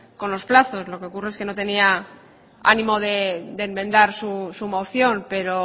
con los plazos lo que ocurre es que no tenía ánimo de enmendar su moción pero